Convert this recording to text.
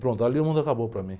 Pronto, ali o mundo acabou para mim.